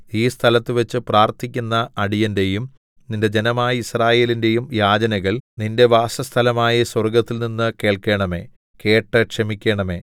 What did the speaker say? ഈ സ്ഥലത്തുവച്ചു പ്രാർത്ഥിക്കുന്ന അടിയന്റെയും നിന്റെ ജനമായ യിസ്രായേലിന്റെയും യാചനകൾ നിന്റെ വാസസ്ഥലമായ സ്വർഗ്ഗത്തിൽനിന്നു കേൾക്കേണമേ കേട്ട് ക്ഷമിക്കേണമേ